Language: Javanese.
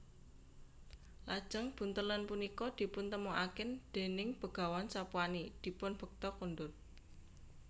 Lajeng buntelan punika dipuntemokaken déning Begawan Sapwani dipun bekta kondur